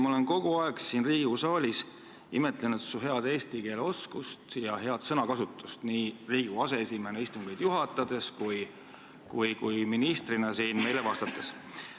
Ma olen kogu aeg siin Riigikogu saalis imetlenud su head eesti keele oskust ja head sõnakasutust nii Riigikogu aseesimehena istungit juhatades kui ministrina siin meile vastates.